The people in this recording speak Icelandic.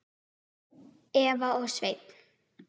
Eva og Sveinn.